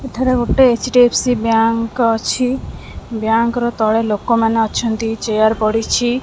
ଏଠାରେ ଗୋଟେ H D F C bank ଅଛି ବ୍ୟାଙ୍କ ର ତଳେ ଲୋକ ମାନେ ଅଛନ୍ତି ଚେୟାର ପଡିଚି।